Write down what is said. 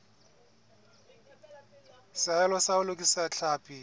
seahelo sa ho lokisa tlhapi